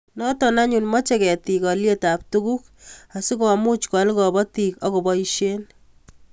Nioto anyun mochei ketik olyetab tuguk asikomuch koal kobotik akoboisie